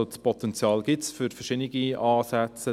Das Potenzial gibt es, für verschiedene Ansätze.